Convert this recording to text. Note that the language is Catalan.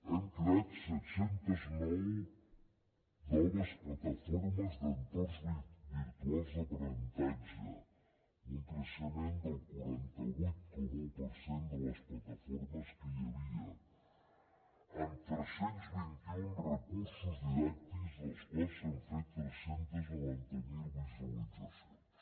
hem creat set cents i nou noves plataformes d’entorns virtuals d’aprenentatge un creixement del quaranta vuit coma un per cent de les plataformes que hi havia amb tres cents i vint un recursos didàctics dels quals s’han fet tres cents i noranta miler visualitzacions